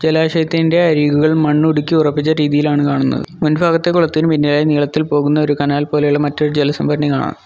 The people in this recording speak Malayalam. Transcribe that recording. ജലാശയത്തിൻ്റെ അരികുകൾ മണ്ണുടുക്കി ഉറപ്പിച്ച രീതിയിലാണ് കാണുന്നത് മുൻഭാഗത്തെ കുളത്തിൽ നീളത്തിൽ പോകുന്ന ഒരു കനാൽ പോലുള്ള മറ്റൊരു ജലസംഭരണി കാണാം.